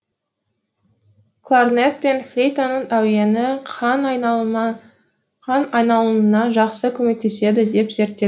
кларнет пен флейтаның әуені қан айналымына жақсы көмектеседі деп зерттелген